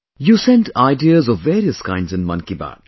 You send ideas of various kinds in 'Mann Ki Baat'